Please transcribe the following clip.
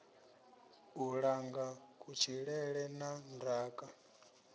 u langa kutshilele na ndaka